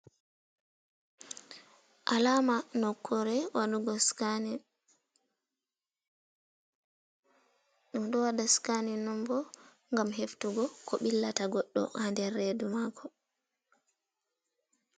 Alama nokkore waɗu go sikanin, ɗum ɗo waɗa sikanin bo gam heftugo ko billata goɗɗo ha nder redu mako.